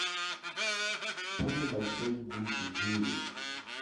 самый большой гусь в мире